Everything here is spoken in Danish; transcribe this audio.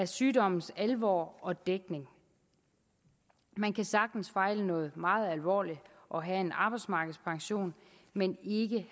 sygdommens alvor og dækningen man kan sagtens fejle noget meget alvorligt og have en arbejdsmarkedspension men ikke